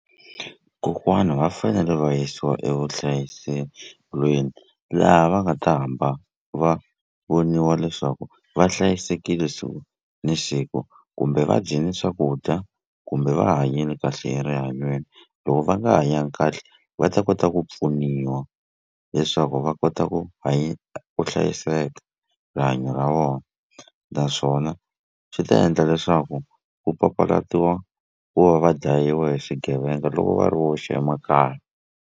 Kokwana va fanele va yisiwa evuhlayiselweni laha va nga ta hamba va voniwa leswaku va hlayisekile siku ni siku kumbe va dyini swakudya kumbe va hanyini kahle erihanyweni loko va nga hanyanga kahle va ta kota ku pfuniwa leswaku va kota ku ku hlayiseka rihanyo ra vona naswona swi ta endla leswaku ku papalatiwa ku va va dlayiwa hi swigevenga loko va ri woxe emakaya.